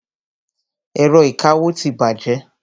Ẹ̀rọ ìkawó ti bàjẹ́.